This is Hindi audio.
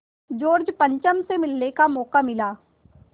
जॉर्ज पंचम से मिलने का मौक़ा मिला